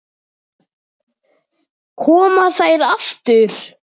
Koma þær aftur?